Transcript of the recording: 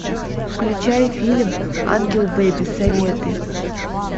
включай фильм ангел бэби советы